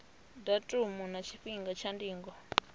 datumu na tshifhinga tsha ndingo